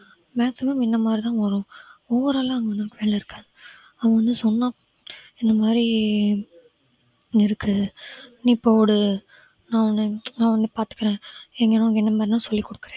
maximum இந்த மாதிரிதான் வரும் overall அ அங்க ஒண்ணும் இருக்காது அவன் வந்து சொன்னான் இந்த மாதிரி இருக்கு நீ போடு நான் உன்னை நான் உன்னை பார்த்துக்கிறேன் சொல்லிக் கொடுக்கிறேன்